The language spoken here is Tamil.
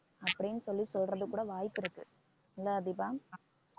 அப்படின்னு சொல்லி சொல்றதுக்கு கூட வாய்ப்பு இருக்கு இல்ல தீபா